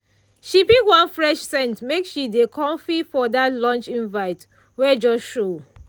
she pick one fresh scent make she dey comfy for that lunch invite wey just show.